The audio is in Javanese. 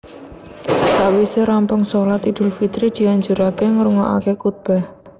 Sawisé rampung shalat Idul Fitri dianjuraké ngrungokaké kutbah